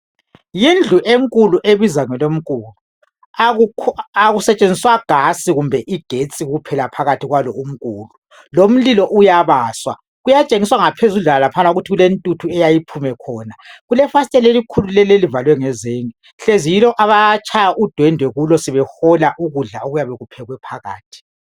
Yindlu enkulu ebizwa ngelomkulu. Akusetshenziswa gasi kumbe igetsi kuphela phakathi kwalo umkulu lomlilo uyabaswa. Kuyatshengiswa ngaphezudlwana laphana ukuthi kulentuthu eyayiphume khona. Kulefasitela elikhulu leli elivalwe ngezenge hlezi yilo abatshaya udwendwe kulo sebehola ukudla okuyàbe kuphekwe phakathi.